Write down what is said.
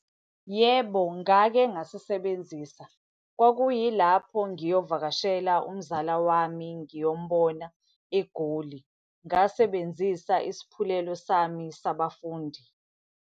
Yebo, ngake ngasisebenzisa. Kwakuyilapho ngiyovakashela umzala wami, ngiyombona eGoli. Ngasebenzisa isaphulelo sami sabafundi.